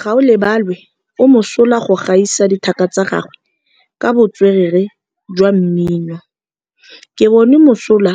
Gaolebalwe o mosola go gaisa dithaka tsa gagwe ka botswerere jwa mmino. Ke bone mosola